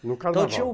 No carnaval.